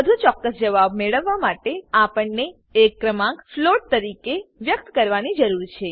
વધુ ચોક્કસ જવાબ મેળવવા માટે આપણને એક ક્રમાંક ફ્લોટ તરીકે વ્યક્ત કરવાની જરૂર છે